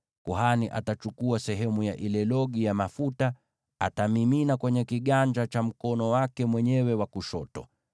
Kuhani atachukua sehemu ya ile logi ya mafuta, ayamimine kwenye kiganja cha mkono wake mwenyewe wa kushoto,